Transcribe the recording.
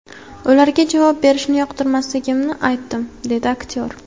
Ularga javob berishni yoqtirmasligimni aytdim”, dedi aktyor.